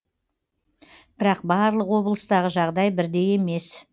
бірақ барлық облыстағы жағдай бірдей емес